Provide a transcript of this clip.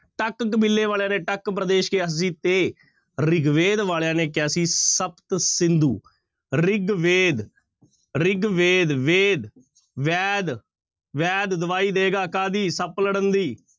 ਟੱਕ ਕਬੀਲੇ ਵਾਲਿਆਂ ਨੇ ਟੱਕ ਪ੍ਰਦੇਸ਼ ਕਿਹਾ ਸੀ ਤੇ ਰਿਗਵੇਦ ਵਾਲਿਆਂ ਨੇ ਕਿਹਾ ਸੀ ਸਪਤ ਸਿੰਧੂ ਰਿਗਵੇਦ, ਰਿਗਵੇਦ ਵੇਦ, ਵੈਦ ਵੈਦ ਦਵਾਈ ਦਏਗਾ ਕਾਹਦੀ ਸੱਪ ਲੜਨ ਦੀ